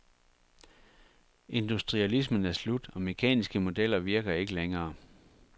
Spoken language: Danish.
Industrialismen er slut og mekaniske modeller virker ikke længere.